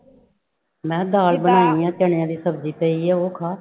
ਮੈਂ ਕਿਹਾ ਦਾਲ ਬਣਾਉਣੀ ਆਂ ਚਣਿਆਂ ਦੀ ਸਬਜ਼ੀ ਪਈ ਹੈ ਉਹ ਖਾ।